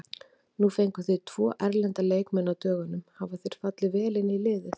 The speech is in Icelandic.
Nú fenguð þið tvo erlenda leikmenn á dögunum, hafa þeir fallið vel inn í liðið?